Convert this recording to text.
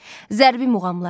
Zərbi muğamlar.